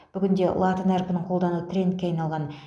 бүгінде латын әрпін қолдану трендке айналған